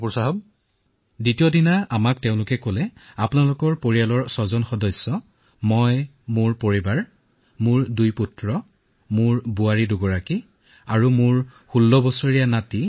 পৰৱৰ্তী দিনা তেওঁলোকে কলে যে আপোনালোকৰ যি ছয়জন মানুহ আছে মোৰ দুজন লৰা মোৰ পত্নী মোৰ বয়স তেইসত্তৰ বছৰ মোৰ পত্নী আৰু মোৰ পুত্ৰ পত্নী আৰু মোৰ ষোল্ল বছৰীয়া নাতি